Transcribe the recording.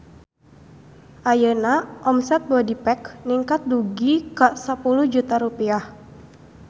Ayeuna omset Bodypack ningkat dugi ka 10 juta rupiah